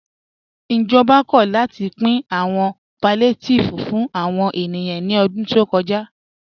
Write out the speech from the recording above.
Ìjọba kò látì pìn àwọn palliatives fún àwọn ènìyàn ní ọ̀dún tó kọ́já.